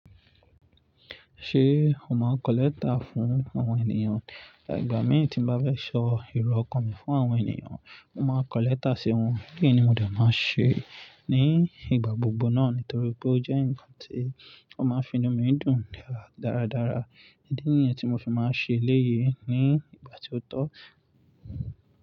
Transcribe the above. Ṣé o máa n kọ lẹ́tà fún àwọn ènìyàn? Igba mi, tí n bá fẹ ṣọ ìró ọkàn mi fún àwọn ènìyàn, mo máa kọlẹ́tà sí wọn. Kí ni mo de máa ṣe ní ìgbà gbogbo náà? Nítorí pé ó jẹ́ ǹkan tí ó máa ń fi inú mi dùn dáradára. Idí nìyẹn tí mo fi máa ṣe eléyìí ní ìgbà tí ó tọ́.